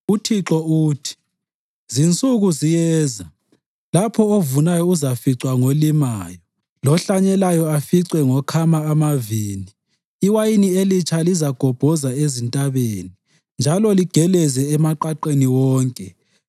UThixo uthi, “Zinsuku ziyeza, lapho ovunayo ezaficwa ngolimayo, lohlanyelayo aficwe ngokhama amavini. Iwayini elitsha lizagobhoza ezintabeni, njalo ligeleze emaqaqeni wonke.